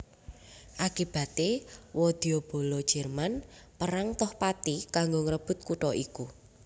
Akibaté wadyabala Jerman perang toh pati kanggo ngrebut kutha iku